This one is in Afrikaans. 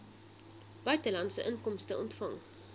buitelandse inkomste ontvang